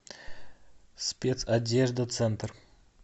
спецодеждацентр